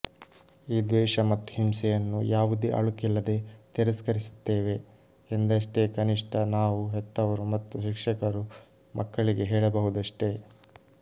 ಈ ದ್ವೇಷ ಮತ್ತು ಹಿಂಸೆಯನ್ನು ಯಾವುದೇ ಅಳುಕಿಲ್ಲದೆ ತಿರಸ್ಕರಿಸುತ್ತೇವೆ ಎಂದಷ್ಟೇ ಕನಿಷ್ಠ ನಾವು ಹೆತ್ತವರು ಮತ್ತು ಶಿಕ್ಷಕರು ಮಕ್ಕಳಿಗೆ ಹೇಳಬಹುದಷ್ಟೇ